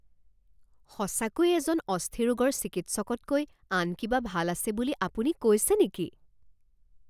সঁচাকৈয়ে এজন অস্থিৰোগৰ চিকিৎসকতকৈ আন কিবা ভাল আছে বুলি আপুনি কৈছে নেকি?